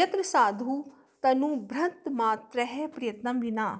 यत्र साधु तनुभृन्मात्रः प्रयत्नं विना